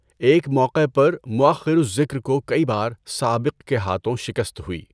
ایک موقع پر، مؤخر الذکر کو کئی بار سابق کے ہاتھوں شکست ہوئی۔